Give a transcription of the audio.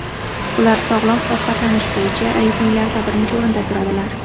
Ular sog‘lom ovqatlanish bo‘yicha reytinglarda birinchi o‘rinda turadilar.